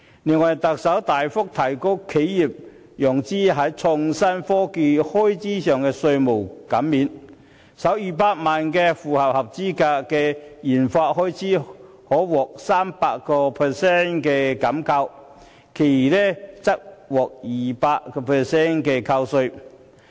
另外，特首大幅提高企業在創新科技開支方面的稅務減免，首200萬元的合資格研發開支可獲 300% 扣稅，餘額則獲 200% 扣稅。